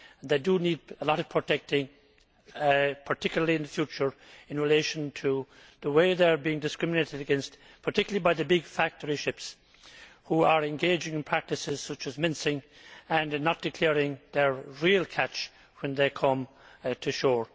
They do need a lot of protecting, particularly in the future, in relation to the way they are being discriminated against, especially by the big factory ships which are engaging in practices such as mincing and in not declaring their real catch when then come to shore.